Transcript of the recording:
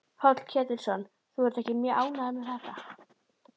Páll Ketilsson: Þú ert ekki mjög ánægð með þetta?